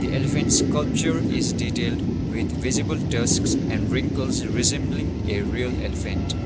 the elephant sclupture is detailed with visible tusks and wrinkles resembling a real elephant.